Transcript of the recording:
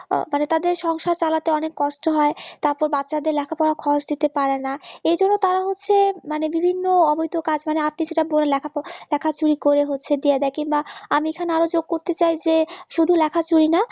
মানে তাদের সংসার চালাতে অনেক কষ্ট হয় তারপর বাচ্চাদের লেখাপড়ার খরচ দিতে পারেনা এইজন্য তারা হচ্ছে মানে বিভিন্ন অবৈধ কাজ মানে আপনি যেটা বললেন লেখাপড়ার লেখা চুরি করে হচ্ছে দিয়ে দেয় বা আমি এখানে আরো যোগ করতে চাই যে শুধু লেখা চুরি না